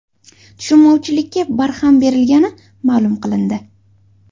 Tushunmovchilikka barham berilgani ma’lum qilindi.